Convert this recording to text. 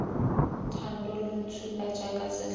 thando lo ntshuba jaaka setlhabi